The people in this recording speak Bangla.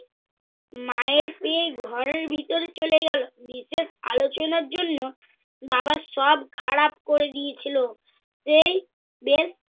মায়ের পেয়ে ঘরের ভিতরে চলে গেল। বিশেষ আলোচনার জন্য বাবা সব খারাপ করে দিয়েছিল। সেই বের